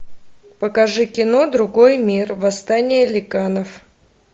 покажи кино другой мир восстание ликанов